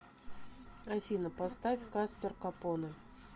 афина поставь каспер капоне